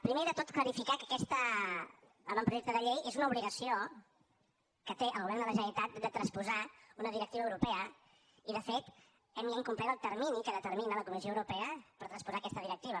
primer de tot clarificar que aquest avantprojecte de llei és una obligació que té el govern de la generalitat de transposar una directiva europea i de fet hem ja incomplert el termini que determina la comissió europea per transposar aquesta directiva